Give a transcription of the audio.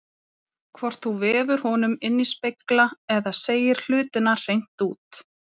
Hvort þú vefur honum inní spegla eða segir hlutina hreint út.